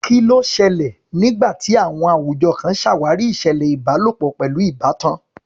Kí ló ṣẹlẹ̀ nígbà tí àwùjọ kan ṣàwárí ìṣẹ̀lẹ̀ ìbálòpọ̀ pẹ̀lú ìbátan?